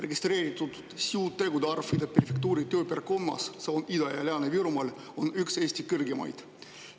Registreeritud süütegude arv, Ida Prefektuuri tööpiirkonnas, see on Ida- ja Lääne-Virumaal, on üks Eesti kõrgemaid.